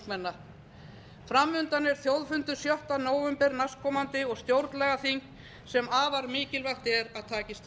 ungmenna fram undan er þjóðfundur sjötta nóvember næstkomandi og stjórnlagaþing sem afar mikilvægt er að takist